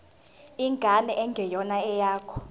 ingane engeyona eyakho